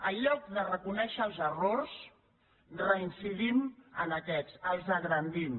en lloc de reconèixer els errors reincidim en aquests els engrandim